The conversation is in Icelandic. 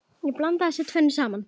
Að blanda þessu tvennu saman.